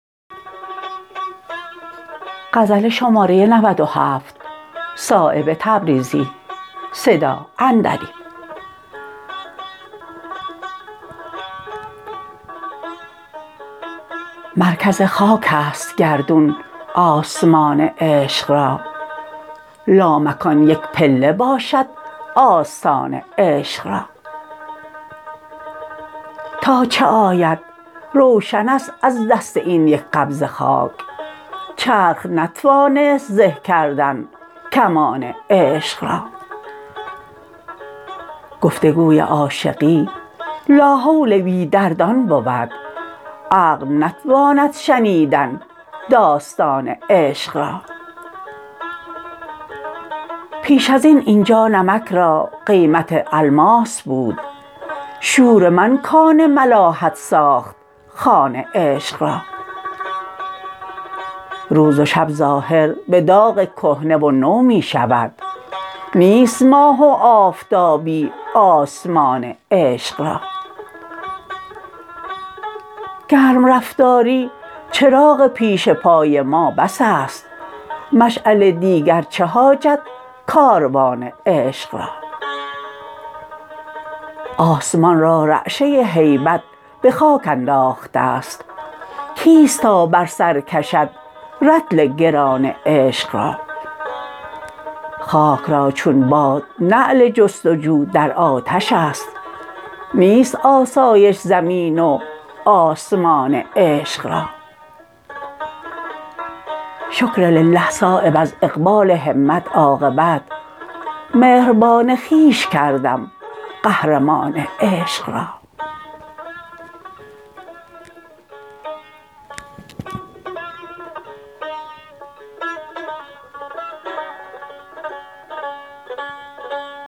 مرکز خاک است گردون آسمان عشق را لامکان یک پله باشد آستان عشق را تا چه آید روشن است از دست این یک قبضه خاک چرخ نتوانست زه کردن کمان عشق را گفتگوی عاشقی لاحول بی دردان بود عقل نتواند شنیدن داستان عشق را پیش ازین اینجا نمک را قیمت الماس بود شور من کان ملاحت ساخت خوان عشق را روز و شب ظاهر به داغ کهنه و نو می شود نیست ماه و آفتابی آسمان عشق را گرم رفتاری چراغ پیش پای ما بس است مشعل دیگر چه حاجت کاروان عشق را آسمان را رعشه هیبت به خاک انداخته است کیست تا بر سر کشد رطل گران عشق را خاک را چون باد نعل جستجو در آتش است نیست آسایش زمین و آسمان عشق را شکرلله صایب از اقبال همت عاقبت مهربان خویش کردم قهرمان عشق را